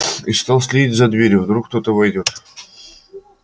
и стал следить за дверью вдруг кто войдёт